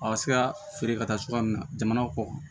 A ka se ka feere ka taa cogoya min na jamana kɔ kan